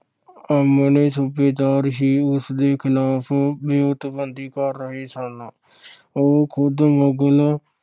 ਆਪਣੇ ਸੂਬੇਦਾਰ ਹੀ ਉਸਦੇ ਖਿਲਾਫ ਵਿਉਂਤਬੰਦੀ ਕਰ ਰਹੇ ਸਨ। ਉਹ ਖੁਦ ਮੁਗਲ